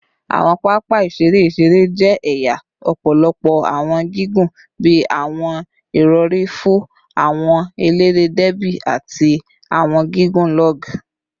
Awọn papa iṣere iṣere jẹ ẹya ọpọlọpọ awọn gigun bii awọn irọri fo, awọn elere derby, ati awọn gigun log